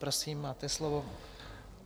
Prosím, máte slovo.